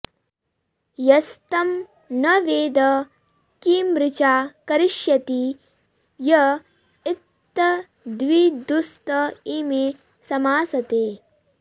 यस्तं न वेद किमृचा करिष्यति य इत्तद्विदुस्त इमे समासते